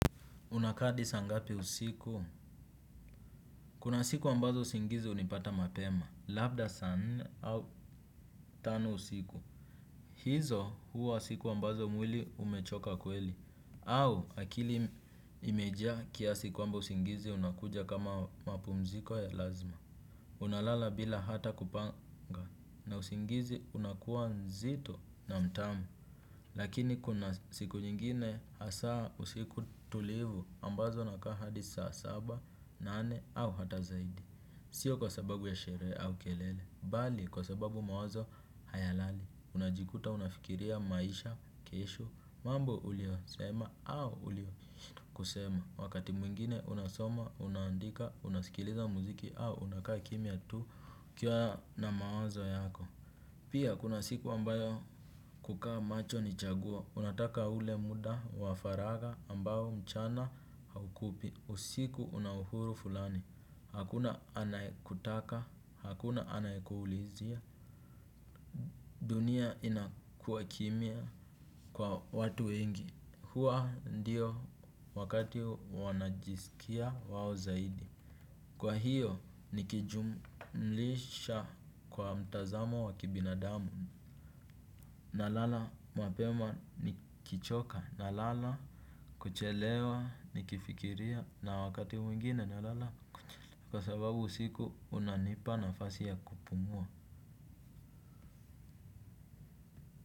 Unakaa hadi saa ngapi usiku? Kuna siku ambazo usingizi hunipata mapema. Labda saa nne au tano usiku. Hizo huwa siku ambazo mwili umechoka kweli. Au akili imejaa kiasi kwamba usingizi unakuja kama mapumziko ya lazima. Unalala bila hata kupanga. Na usingizi unakuwa nzito na mtamu. Lakini kuna siku nyingine hasa usiku tulivu ambazo nakaa hadi saa saba. Nane au hata zaidi. Sio kwa sababu ya sherehe au kelele. Bali kwa sababu mawazo haya lali. Unajikuta unafikiria maisha, kesho, mambo ulio sema au ulio kusema. Wakati mwingine unasoma, unandika, unasikiliza muziki au unakaa kimya tu ukiwa na mawazo yako. Pia kuna siku ambayo kukaa macho ni chaguo. Unataka ule muda, wafaragha ambao mchana haukupi. Usiku unahuru fulani. Hakuna anayekutaka, hakuna anayekuulizia, dunia inakua kimya kwa watu wengi, hua ndio wakati wanajisikia wawo zaidi. Kwa hiyo nikijumlisha kwa mtazamo wa kibinadamu, na lala mapema nikichoka, na lala kuchelewa, nikifikiria, na wakati mwingine na lala. Kwa sababu usiku unanipa nafasi ya kupumua.